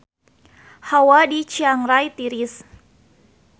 Hawa di Chiang Rai tiris